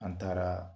An taara